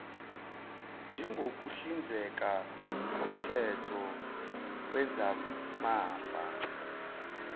njengokuhlinzeka koomthetho wezamafa